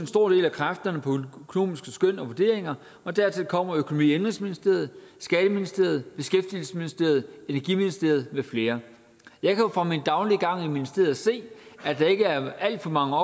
stor del af kræfterne på økonomiske skøn og vurderinger og dertil kommer økonomi og indenrigsministeriet skatteministeriet beskæftigelsesministeriet energiministeriet med flere jeg kan jo fra min daglige gang i ministeriet se at der ikke er alt for mange